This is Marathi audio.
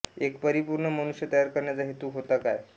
एक परिपूर्ण मनुष्य तयार करण्याचा हेतू होता काय